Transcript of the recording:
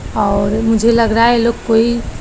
और मुझे लग रहा है ये लोग कोई--